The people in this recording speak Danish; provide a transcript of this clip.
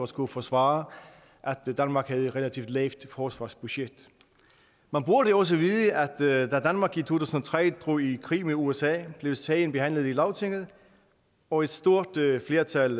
skullet forsvare at danmark havde et relativt lavt forsvarsbudget man burde også vide at da danmark i to tusind og tre drog i krig sammen med usa blev sagen behandlet i lagtinget og et stort flertal